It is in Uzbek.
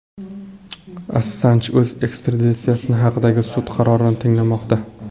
Assanj o‘z ekstraditsiyasi haqidagi sud qarorini tinglamoqda.